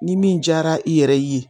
Ni min jara i yɛrɛ ye